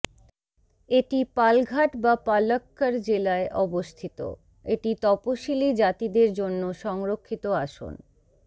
এটি পালঘাট বা পালক্কাড় জেলায় অবস্থিত এটি তপসিলী জাতিদের জন্য সংরক্ষিত আসন